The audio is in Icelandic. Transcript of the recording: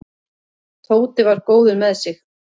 Tóti var góður með sig.